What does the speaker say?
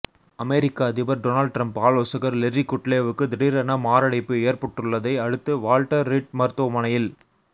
அமெரிக்க அதிபர் Donald Trump ஆலோசகர் Larry குட்லேவுக்கு திடீரென மாரடைப்பு ஏற்பட்டுள்ளதை அடுத்து வால்டர் ரீட் மருத்துவமனையில்